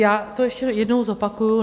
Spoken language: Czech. Já to ještě jednou zopakuji.